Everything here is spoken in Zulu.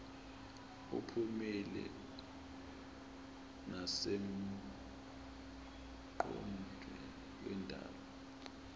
uphumile nasemongweni wendaba